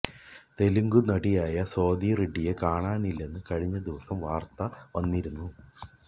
തെലുങ്ക് നടിയായ സ്വാതി റെഡിയെ കാണാനില്ലെന്ന് കഴിഞ്ഞ ദിവസം വാര്ത്ത വന്നിരുന്നു